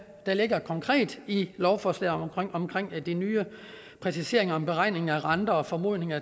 der ligger konkret i lovforslaget om de nye præciseringer om beregning af renter formodninger